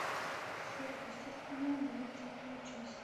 сверхъестественное двадцатая часть